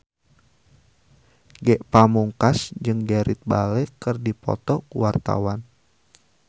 Ge Pamungkas jeung Gareth Bale keur dipoto ku wartawan